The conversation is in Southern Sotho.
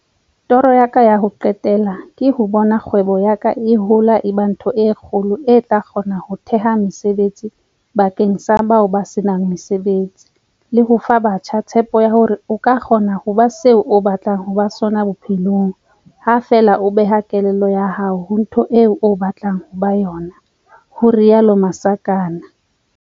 Toro ya ka ya ho qetela ke ho bona kgwebo ya ka e hola e ba ntho e kgolo e tla kgona ho theha mesebetsi bakeng sa bao ba se nang mesebetsi le ho fa batjha tshepo ya hore o ka kgona ho ba se o batlang ho ba sona bophelong ha feela o beha kelello ya hao ho ntho eo batlang ho ba yona, ho rialo Masakane.